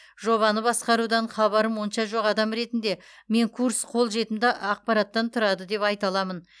жобаны басқарудан хабарым онша жоқ адам ретінде мен курс қолжетімді ақпараттан тұрады деп айта аламын